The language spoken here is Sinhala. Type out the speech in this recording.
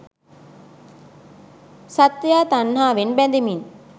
සත්වයා තණ්හාවෙන් බැඳෙමින්